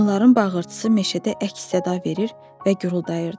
Onların bağırtısı meşədə əks-səda verir və güruldayırdı.